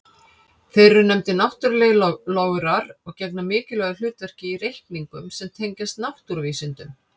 Þeir eru nefndir náttúrlegir lograr og gegna mikilvægu hlutverki í reikningum sem tengjast náttúruvísindum.